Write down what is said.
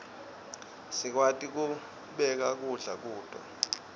sikwati kubeka kudla kuto